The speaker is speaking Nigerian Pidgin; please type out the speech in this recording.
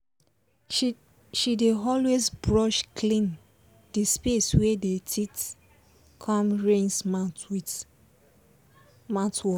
she dey always brush clean the space wey dey teeth com rinse mouth with mouthwash